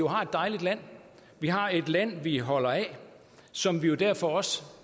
har et dejligt land vi har et land vi holder af og som vi jo derfor også